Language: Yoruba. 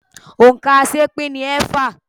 Òǹkà aṣeépín ni ẹẹ́fà.